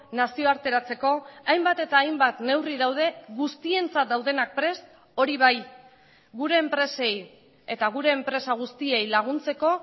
nazioarteratzeko hainbat eta hainbat neurri daude guztientzat daudenak prest hori bai gure enpresei eta gure enpresa guztiei laguntzeko